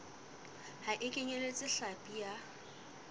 ha e kenyeletse hlapi ya